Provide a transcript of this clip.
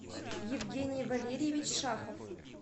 евгений валерьевич шахов